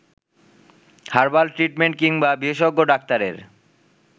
herbal treatment কিংবা বিশেষজ্ঞ ডাক্তারের